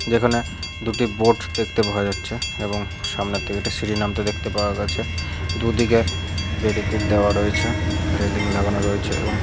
যেখানে দুটি বোট দেখতে পাওয়া যাচ্ছে এবং সামনে থেকে একটি সিঁড়ি নামতে দেখতে পাওয়া গেছে । দু দিকে ব্যারিকেট দেওয়া রয়েছে রেলিং লাগানো রয়েছে এবং--